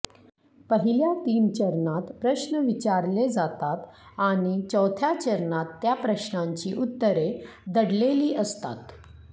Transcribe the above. पहिल्या तीन चरणात प्रश्न विचारले जातात आणि चौथ्या चरणात त्या प्रश्नांची उत्तरे दडलेली असतात